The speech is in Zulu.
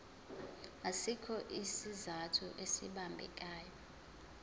asikho isizathu esibambekayo